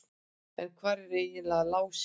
En hvar er eiginlega Lási?